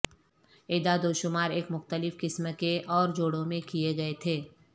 اعداد و شمار ایک مختلف قسم کے اور جوڑوں میں کئے گئے تھے